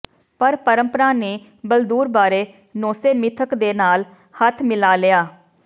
ਪਰ ਪਰੰਪਰਾ ਨੇ ਬਲਦੂਰ ਬਾਰੇ ਨੋਸੇ ਮਿਥਕ ਦੇ ਨਾਲ ਹੱਥ ਮਿਲਾ ਲਿਆ